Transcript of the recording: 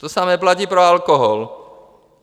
To samé platí pro alkohol.